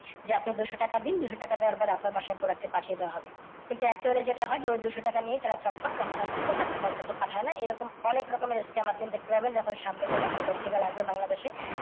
যে আপনি দু শো টাকা দিন, দু শো টাকা দেওয়ার পরে আপনার বাসায় product টা পাঠিয়ে দেওয়া হবে। কিন্তু actually যেটা হয় ঐ দু শো টাকা নিইয়ে তারা চম্পট। তখন আপনার প্রোডাক্টটা তারা আর আপনার কাছে পাঠায় না। এরকম অনেক রকম s scam আপনি দেখতে পাবেন। তারপর সামনে কোনও একটা festival আসবে বাংলাদেশে